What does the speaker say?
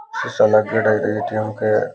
सीसा लागेड़ा एटीएम के --